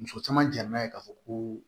Muso caman jɛnna yen k'a fɔ ko